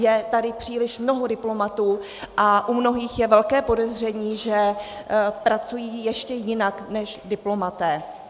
Je tady příliš mnoho diplomatů a u mnohých je velké podezření, že pracují ještě jinak než diplomaté.